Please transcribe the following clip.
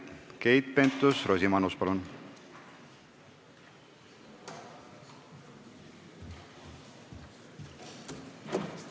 Keit Pentus-Rosimannus, palun!